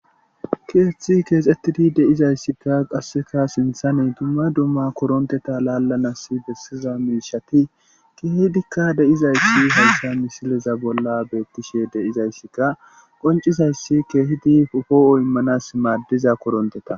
Keeththi keexxettidi de'izayssikka qasseka sinthaney dumma dumma koronteta laallanas bessiza miishati keehidikka deizayssi haysa misileza bolla beettishe deizayssika qoncizayssi keehidi ofoo'o immanas maaddiza koronteta.